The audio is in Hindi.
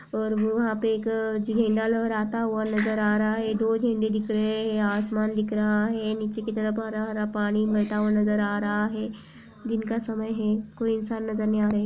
और वहां पे एक झण्डा लहराता हुआ नजर आ रहा है। दो झंडे दिख रहे हैं। आसमान दिख रहा है। नीचे कि तरफ हरा-हरा पानी मिलता हुआ नजर आ रहा है। दिन का समय है। कोई इंसान नजर नहीं आ रहा है।